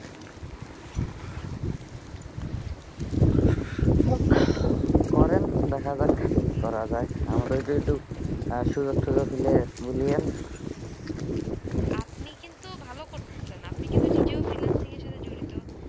করেন দেখা যাক কি করা যায় আমাদের একটু সুযোগ যুযোগ হলে বলিয়েন আপনি কিন্তু ভালো করতে চেন আপনি কিন্তু নিজে freelancing সাথে জড়িত